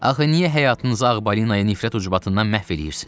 Axı niyə həyatınızı ağ balina nifrət ucbatından məhv eləyirsiz?